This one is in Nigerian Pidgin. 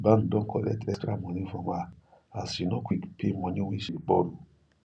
bank don collect extra money from her as she no quick pay money wey she burrow